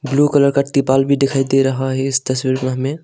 Blue colour का त्रिपाल भी दिखाई दे रहा है इस तस्वीर में हमें।